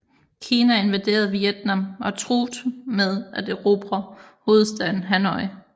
Kina invaderede Vietnam og truet med at erobre hovedstaden Hanoi